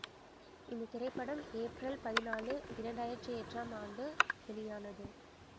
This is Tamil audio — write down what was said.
இந்த திரைப்படம் ஏப்ரல் பதினான்கு இரண்டு ஆயிரத்தி எட்டாம் ஆண்டு வெளியானது